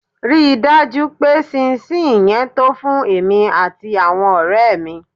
Rí i dájú pé ṣín-ín-ṣi-ìn yẹn to fún èmi àti àwọn ọ̀rẹ́ mi.